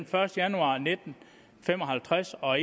første januar nitten fem og halvtreds og